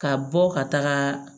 Ka bɔ ka taga